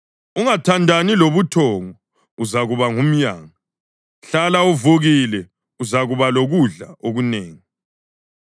Ungathandani lobuthongo uzakuba ngumyanga, hlala uvukile uzakuba lokudla okunengi.